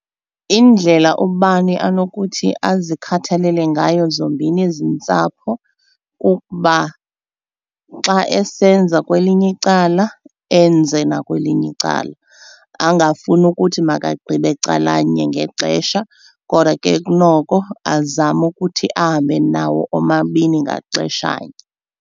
Indlela ubani anokuthi azikhathalele ngayo zombini ezi ntsapho kukuba xa esenza kwelinye icala enze nakwelinye icala, angafuni ukuthi makagqibe calanye ngexesha. Kodwa ke kunoko azame ukuthi ahambe nawo omabini ngaxeshanye.